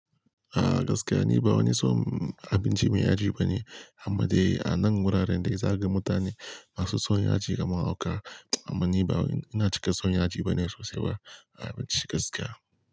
A gaskiya ni ba wani son abinci mai yaji bane. Amma dai a nan wuraren dai za ka ga mutane masu son yaji kamar hauka. Amma ni ba, ina cika son yaji bane sosai ba a abinci gaskiya.